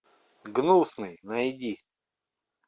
гнусный найди